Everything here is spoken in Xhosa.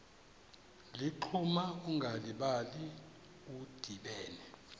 ligquma ungalibali udibene